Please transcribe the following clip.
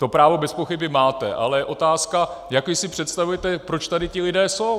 To právo bezpochyby máte, ale je otázka, jak vy si představujete, proč tady ti lidé jsou.